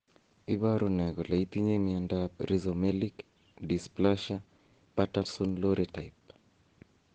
Iporu ne kole itinye miondap Rhizomelic dysplasia Patterson Lowry type?